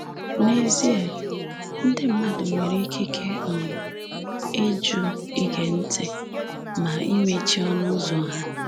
N’ezie, ndị mmadụ nwere ikike um ịjụ ige ntị — na imechi ọnụụzọ ha.